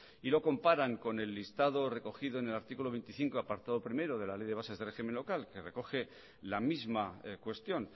y lo comparan con el listado recogido en el artículo veinticinco apartado primero de la ley de bases de régimen local que recoge la misma cuestión